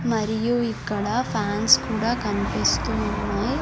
మరియు ఇక్కడ ఫ్యాన్స్ కూడా కన్పిస్తూ ఉన్నాయ్.